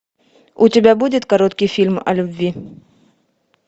у тебя будет короткий фильм о любви